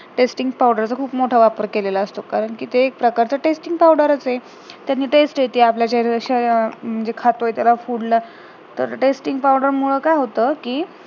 tasting powder चा खूप वापर केलेला असतो कारण कि ते एक प्रकारचं tasting powder च आहे त्यांनी taste येते आपल्या जर अश्या या म्हणजे खातोय त्याला food ला तर tasting powder मुडे काय होत कि